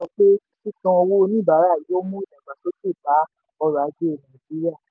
abdul-bojela sọ pé sísan owó oníbàárà yóò mú ìdàgbàsókè bá ọrọ̀ ajé nàìjíríà.